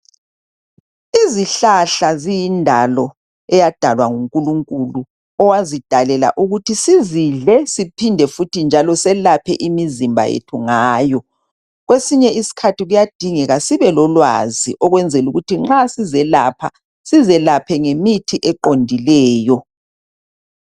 izihlahla ziyindlo eyadalwa ngunkulunkulu owazidalela ukuba sizidle siphinde futhi njalo siyelphe imzmba yethu ngayo kwesinye isikhathi kuyadingeka sibe lolwazi ukuthi nxa sizelapha sizelaphe ngemithi eqondileyo.